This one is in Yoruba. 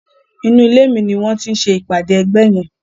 Inú ilé mi ni wọ́n ti ń ṣe ìpàdé ẹgbẹ́ yẹn.